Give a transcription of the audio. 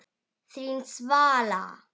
Þín Svala.